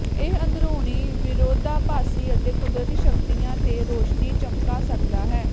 ਇਹ ਅੰਦਰੂਨੀ ਵਿਰੋਧਾਭਾਸੀ ਅਤੇ ਕੁਦਰਤੀ ਸ਼ਕਤੀਆਂ ਤੇ ਰੌਸ਼ਨੀ ਚਮਕਾ ਸਕਦਾ ਹੈ